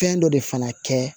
Fɛn dɔ de fana kɛ